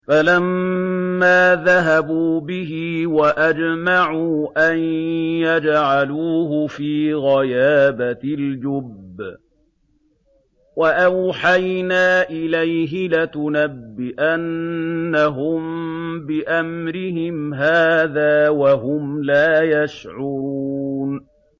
فَلَمَّا ذَهَبُوا بِهِ وَأَجْمَعُوا أَن يَجْعَلُوهُ فِي غَيَابَتِ الْجُبِّ ۚ وَأَوْحَيْنَا إِلَيْهِ لَتُنَبِّئَنَّهُم بِأَمْرِهِمْ هَٰذَا وَهُمْ لَا يَشْعُرُونَ